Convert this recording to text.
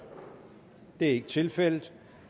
det er ikke tilfældet